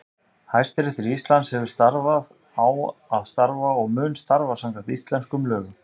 Hæstiréttur Íslands hefur starfað, á að starfa og mun starfa samkvæmt íslenskum lögum.